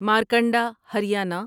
Markanda Haryana